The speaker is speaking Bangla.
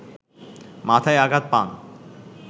মাথায় আঘাত পান